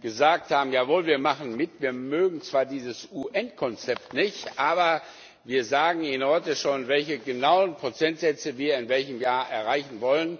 gesagt haben Jawohl, wir machen mit. Wir mögen zwar dieses UN Konzept nicht, aber wir sagen Ihnen heute schon, welche genauen Prozentsätze wir in welchem Jahr erreichen wollen.